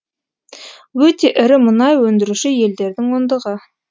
өте ірі мұнай өндіруші елдердің ондығы